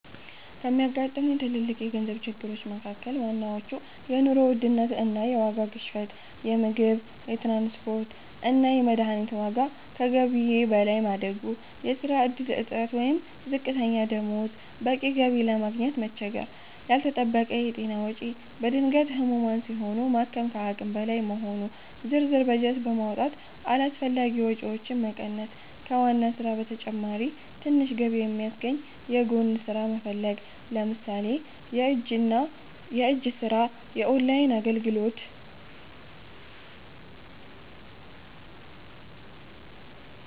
ከሚያጋጥሙኝ ትልልቅ የገንዘብ ችግሮች መካ�ከል ዋናዎቹ፦ የኑሮ ውድነት እና የዋጋ ግሽበት - የምግብ፣ የትራንስፖርት እና የመድኃኒት ዋጋ ከገቢዬ በላይ ማደጉ። የሥራ ዕድል እጥረት ወይም ዝቅተኛ ደሞዝ - በቂ ገቢ ለማግኘት መቸገር። ያልተጠበቀ የጤና ወጪ - በድንገት ህሙማን ሲሆኑ ማከም ከአቅም በላይ መሆኑ። ዝርዝር በጀት በማውጣት አላስፈላጊ ወጪዎችን መቀነስ። ከዋና ሥራ በተጨማሪ ትንሽ ገቢ የሚያስገኝ የጎን ሥራ መፈለግ (ለምሳሌ የእጅ ሥራ፣ ኦንላይን አገልግሎት)።